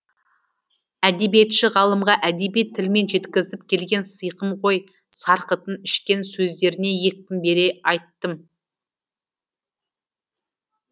әдебиетші ғалымға әдеби тілмен жеткізгім келген сыйқым ғой сарқытын ішкен сөздеріне екпін бере айттым